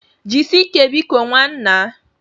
Jisie ike biko nwannaa.